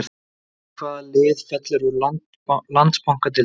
Veist þú hvaða lið fellur úr Landsbankadeildinni?